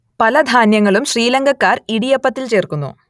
പല ധാന്യങ്ങളും ശ്രീലങ്കക്കാർ ഇടിയപ്പത്തിൽ ചേർക്കുന്നു